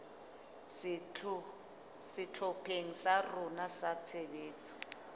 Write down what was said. sehlopheng sa rona sa tshebetso